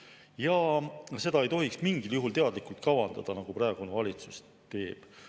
Ja seda ei tohiks mingil juhul teadlikult kavandada, nagu praegune valitsus teeb.